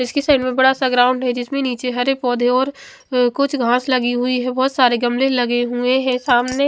इसकी साइड में बड़ा सा ग्राउंड है जिसमे निचे हर एक पौधे और कुछ घास लगी हुई है बहोत सारे गमले लगे हुए है सामने--